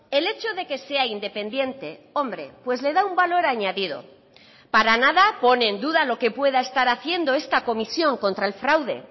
el hecho de que sea independiente hombre pues le da un valor añadido para nada pone en duda lo que pueda estar haciendo esta comisión contra el fraude